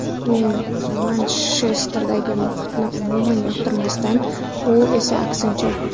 Men Manchesterdagi muhitni umuman yoqtirmasdim, u esa aksincha.